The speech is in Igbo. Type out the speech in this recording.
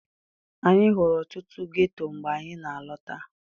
Anyị hụrụ ọtụtụ ghetto mgbe anyị na-alọta.